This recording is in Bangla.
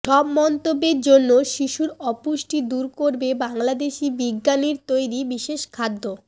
সব মন্তব্যের জন্য শিশুর অপুষ্টি দূর করবে বাংলাদেশি বিজ্ঞানীর তৈরি বিশেষ খাদ্য